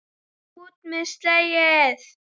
ÚT MEÐ SEGLIÐ!